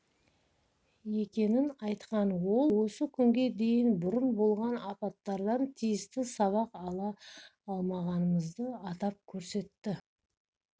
екенін айтқан ол осы күнге дейін бұрын болған апаттардан тиісті сабақ ала алмағанымызды атап көрсетті